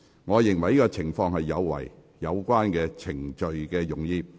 我認為這情況有違有關程序的用意。